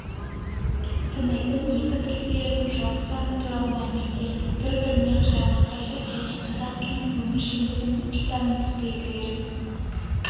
санайтын екі тілділердің жалпы саны туралы мәліметтер бір-біріне қарама-қайшы және қазақ тілінің өміршеңдегінің тілтанымдық белгілілерінің